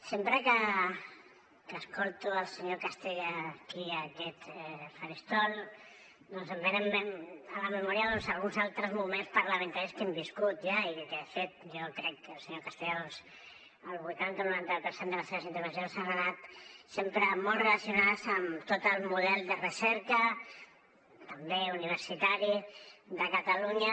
sempre que escolto el senyor castellà aquí a aquest faristol doncs em venen a la memòria alguns altres moments parlamentaris que hem viscut ja i que de fet jo crec que el senyor castellà el vuitanta noranta per cent de les seves intervencions han anat sempre molt relacionades amb tot el model de recerca també universitari de catalunya